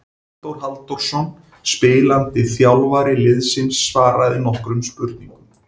Halldór Halldórsson spilandi þjálfari liðsins svaraði nokkrum spurningum.